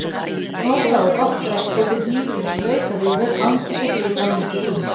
Nota á gott bretti sem hnífurinn skautar yfir án þess að grípa mikið í.